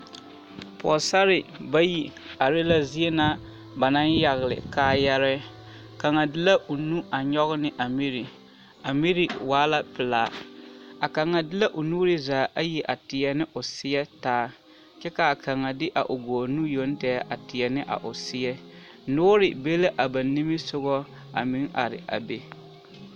Pɔgesarre bayi are la zie na ba naŋ yagele kaayarɛɛ, kaŋa de la o nu a nyɔge ne a miri, a miri waa la pelaa, a kaŋa de la o nuuri zaa ayi a teɛ ne o seɛ taa kyɛ k'a kaŋa de a o gɔɔ nu yoŋ tɛgɛ a teɛ ne a o seɛ, noore be la a ba nimisogɔ a meŋ are a be.